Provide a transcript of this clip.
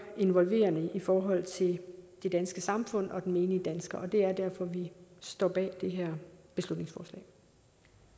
involverende i forhold til det danske samfund og den menige dansker og det er derfor vi står bag det